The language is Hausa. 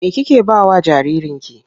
Me kike ba wa jaririnki?